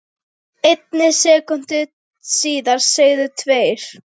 einni sekúndu síðar segðu tveir